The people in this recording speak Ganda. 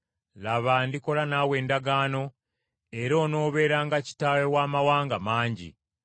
“Laba, ndikola naawe endagaano, era onoobeeranga kitaawe w’amawanga mangi.